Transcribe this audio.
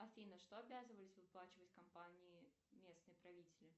афина что обязывались выплачивать компании местные правители